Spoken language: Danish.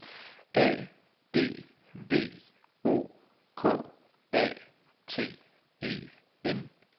A D V O K A T E N